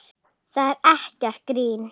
Það er ekkert grín.